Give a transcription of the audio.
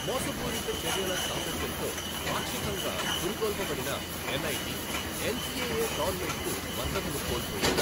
మోసపూరిత చర్యల సాంగత్యంతో పాక్షికంగా పురికొల్పబడిన ఎన్ఐటి, ఎన్సిఎఎ టోర్నమెంట్కు మద్దతును కోల్పోయింది.